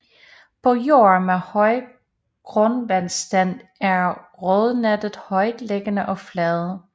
På jorde med høj grundvandsstand er rodnettet højtliggende og fladt